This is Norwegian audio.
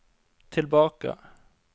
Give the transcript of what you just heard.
tilbake